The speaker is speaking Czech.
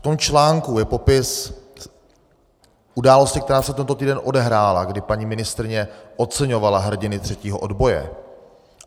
V tom článku je popis události, která se tento týden odehrála, kdy paní ministryně oceňovala hrdiny třetího odboje.